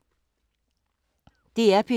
DR P3